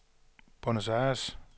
Buenos Aires